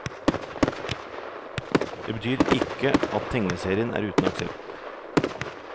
Det betyr ikke at tegneserien er uten aksept.